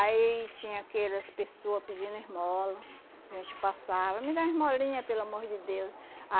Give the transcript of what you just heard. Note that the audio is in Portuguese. Aí tinha aquelas pessoa pedindo esmola, a gente passava, me dá uma esmolinha, pelo amor de Deus.